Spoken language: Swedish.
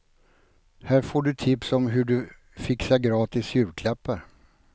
Här får du tips om hur du fixar gratis julklappar.